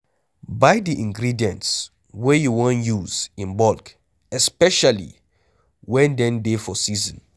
Buy di ingredients wey you wan use in bulk especially when dem dey for season